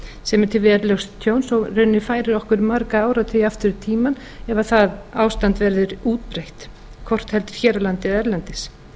tilfellum til verulegs tjóns og mun færa okkur marga áratugi aftur í tímann ef það ástand verður útbreitt hvort heldur hér á landi eða erlendis